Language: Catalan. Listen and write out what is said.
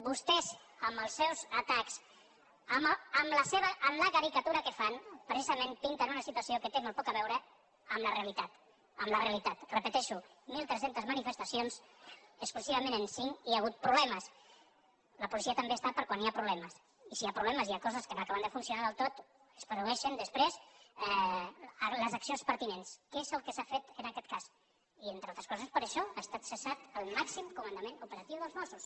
vostès amb els seus atacs amb la caricatura que fan precisament pinten una situació que té molt poc a veure amb la realitat amb la realitat ho repeteixo de mil tres centes manifestacions exclusivament en cinc hi ha hagut problemes la policia també està per quan hi ha problemes i si hi ha problemes si hi ha coses que no acaben de funcionar del tot es produeixen després les accions pertinents que és el que s’ha fet en aquest cas i entre altres coses per això ha estat cessat el màxim comandament operatiu dels mossos